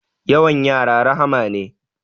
Yawan yara rahma ne